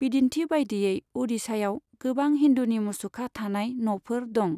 बिदिन्थि बायदियै, अडिशायाव गोबां हिन्दुनि मुसुखा थानाय न'फोर दं।